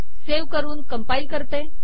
save करून compile करते